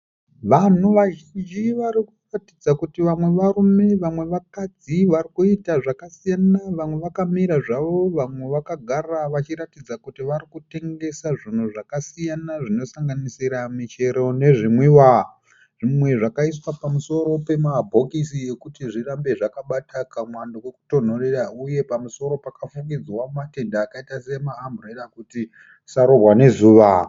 Vanhu vazhinji vari kuratidza kuti vamwe varume vamwe vakadzi vari kuita zvakasiyana. Vamwe vakamira zvavo vamwe vakagara vachiratidza kuti vari kutengesa zvinhu zvakasiyana zvinosanganisira michero nezvinwiwa. Zvimwe zvakaiswa pamusoro pemabhokisi ekuti zvirambe zvakabata kamwando kokutonhorera uye pamusoro pakafukidzwa matende akaita sema amburera kuti zvisarohwa nezuva.